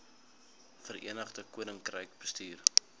verenigde koninkryk bestuur